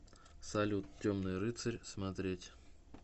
салют темный рыцарь смотреть